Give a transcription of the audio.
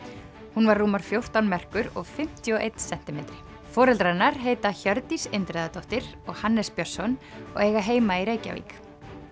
hún var rúmar fjórtán merkur og fimmtíu og einn sentimetri foreldrar hennar heita Hjördís Indriðadóttir og Hannes Björnsson og eiga heima í Reykjavík